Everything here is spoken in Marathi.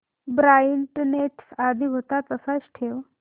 ब्राईटनेस आधी होता तसाच ठेव